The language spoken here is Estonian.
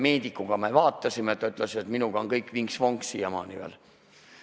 Üks meedik mind vaatas, ta ütles, et minuga on kõik siiamaani veel vinks-vonks.